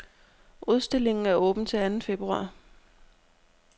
Udstillingen er åben til anden februar.